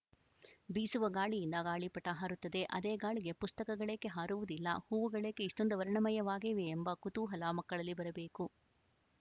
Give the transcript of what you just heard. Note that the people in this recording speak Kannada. ಬೀಸುವ ಗಾಳಿಯಿಂದ ಗಾಳಿಪಟ ಹಾರುತ್ತದೆ ಅದೇ ಗಾಳಿಗೆ ಪುಸ್ತಕಗಳೇಕೆ ಹಾರುವುದಿಲ್ಲ ಹೂವುಗಳೇಕೆ ಇಷ್ಟೊಂದು ವರ್ಣಮಯವಾಗಿವೆಯೆಂಬ ಕುತೂಹಲ ಮಕ್ಕಳಲ್ಲಿ ಬರಬೇಕು